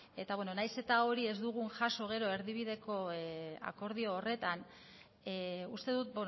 eta nahiz eta hori ez dugun jaso gero erdibideko akordio horretan uste dut